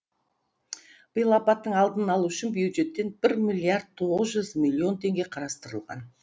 биыл апаттың алдын алу үшін бюджеттен бір миллиард тоғыз жүз миллион теңге қарастырылған